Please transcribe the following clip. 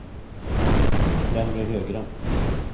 främre högra